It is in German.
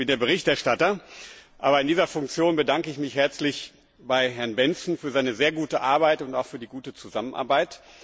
Ich bin der Berichterstatter. Aber in dieser Funktion bedanke ich mich herzlich bei Herrn Bendtsen für seine sehr gute Arbeit und auch für die gute Zusammenarbeit.